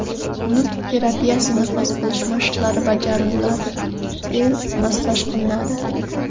Nutq terapiyasi, nafas olish mashqlari bajariladi, til massaj qilinadi.